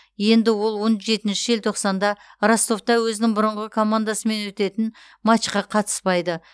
енді ол он жетінші желтоқсанда ростовта өзінің бұрынғы командасымен өтетін матчқа қатыспайды